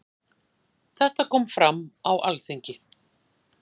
Þetta kom fram á Alþingi.